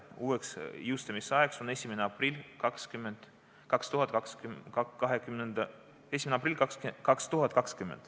Uueks jõustumisajaks on 1. aprill 2020.